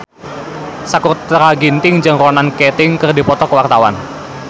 Sakutra Ginting jeung Ronan Keating keur dipoto ku wartawan